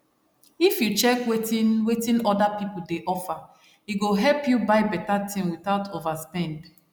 if you check wetin wetin other people dey offer e go help you buy better thing without overspend